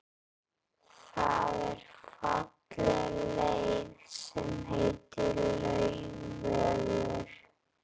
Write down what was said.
Það er falleg leið sem heitir Laugavegur.